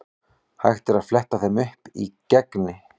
Hægt er að fletta þeim upp í Gegni.